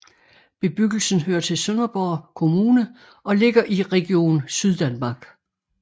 Bebyggelsen hører til Sønderborg Kommune og ligger i Region Syddanmark